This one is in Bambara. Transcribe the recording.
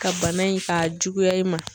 Ka bana in ka juguya i ma.